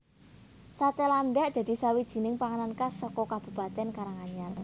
Sate landak dadi sawijining panganan khas saka Kabupatèn Karanganyar